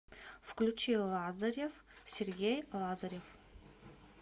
включи лазарев сергей лазарев